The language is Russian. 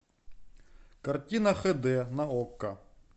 картина х д на окко